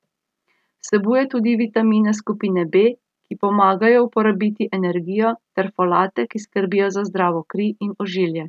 Vsebuje tudi vitamine skupine B, ki pomagajo uporabiti energijo, ter folate, ki skrbijo za zdravo kri in ožilje.